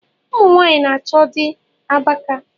Ụmụnwanyị na-achọ di abaka